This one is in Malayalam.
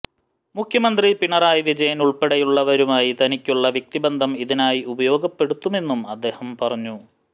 മുഖ്യമന്ത്രി പിണറായി വിജയന് ഉള്പ്പെടെയുള്ളവരുമായി തനിക്കുള്ള വ്യക്തിബന്ധം ഇതിനായി ഉപയോഗപ്പെടത്തുമെന്നും അദ്ദേഹം പറഞ്ഞു